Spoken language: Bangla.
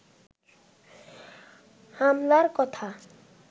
হামলার কথা